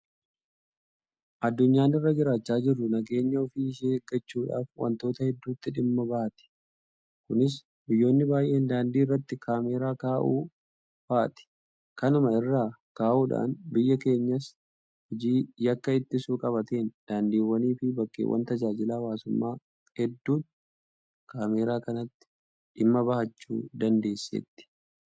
Addunyaan irra jiraachaa jirru nageenya ofii ishee eeggachuudhaaf waantota hedduutti dhimma bahatti. Kunis biyyoonni baay'een daandii irratti kaameraa kaa'uu fa'aati. Kanuma irraa ka'uudhaan biyyi keenyas hojii yakka ittisuu qabatteen daandiiwwaniifi bakkeewwan tajaajila hawaasummaa hedduutti kaameraa kanatti dhimma bahachuu dandeesseetti.